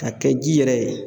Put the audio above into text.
K'a kɛ ji yɛrɛ ye.